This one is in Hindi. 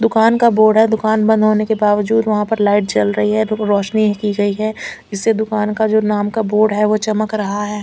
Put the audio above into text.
दुकान का बोर्ड है दुकान बंद होने के बावजूद वहां पर लाइट जल रही है रोशनी की गई है इससे दुकान का जो नाम का बोर्ड है वो चमक रहा है।